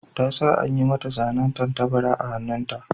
Ta sa an yi mata zanen tattabara a hannunta.